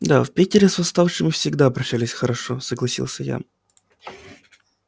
да в питере с восставшими всегда обращались хорошо согласился я